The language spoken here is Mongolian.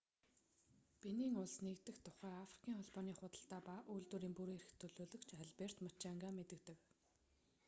бенин улс нэгдэх тухай африкийн холбооны худалдаа ба үйлдвэрийн бүрэн эрх төлөөлөгч алберт мучанга мэдэгдэв